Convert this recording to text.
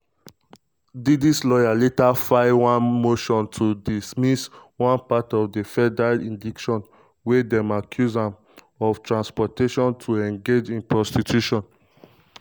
diddy lawyers later file one motion to dismiss one part of di federal indictment wia dem accuse um am of transportation um to engage in prostitution.